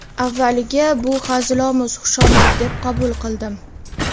Avvaliga bu hazilomuz xushomad deb qabul qildim.